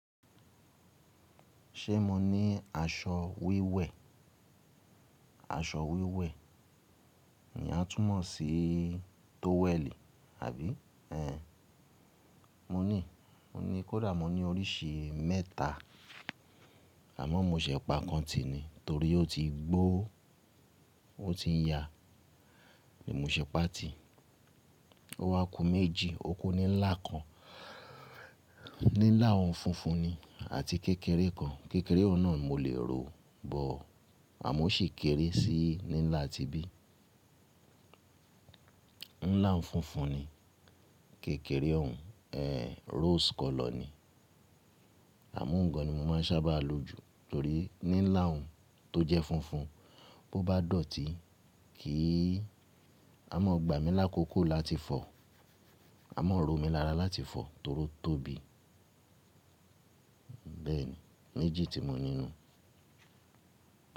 Ṣé mo ní aṣọ wíwẹ́? Aṣọ wíwẹ́ ni a tún mọ̀ sí tówẹ̀lì, àbí? Mo ní, mo ní kódà mo ní oríṣi mẹ́ta, àmọ́ mo ṣẹ̀ pa kan ti ni, torí ó ti gbó ó ti ya, ohun ni mo ṣẹ̀ pa ti, ó wá okú méjì, okú níńlá kan, níńlá òhun funfun ni àti kékeré kan, kékeré ọ̀nà mó lè rò bọ, àmọ́ ó sì kéré sí níńlá tí bí. Níńlá òhun funfun ni, kékeré òhun, ehh rose kọlọ̀ ni. Àmọ́ ǹkan ni mo máa ń sábà lo jù, torí níńlá òhun tó jẹ́ funfun, bó bá dọ̀tí kì í, a mọ́ gbà mí lákòókò láti fọ̀, a mọ́ rọ̀ mí lára láti fọ̀ torí ó tóbi. Bẹ́ẹ̀ni, méjì tí mó ní nínú.